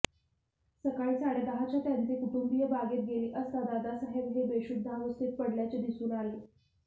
सकाळी साडेदहाच्या त्यांचे कुटुंबिय बागेत गेले असता दादासाहेब हे बेशुध्दावस्थेत पडल्याचे दिसून आले